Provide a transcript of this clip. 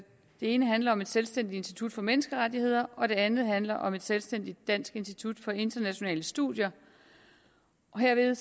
det ene handler om et selvstændigt institut for menneskerettigheder og det andet handler om et selvstændigt dansk institut for internationale studier og herved